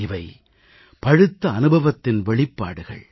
இவை பழுத்த அனுபவத்தின் வெளிப்பாடுகள்